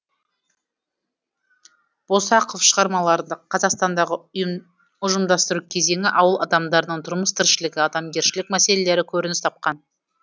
босақов шығармаларында қазақстандағы ұжымдастыру кезеңі ауыл адамдарының тұрмыс тіршілігі адамгершілік мәселелері көрініс тапқан